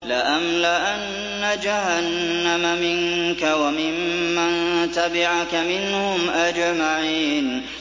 لَأَمْلَأَنَّ جَهَنَّمَ مِنكَ وَمِمَّن تَبِعَكَ مِنْهُمْ أَجْمَعِينَ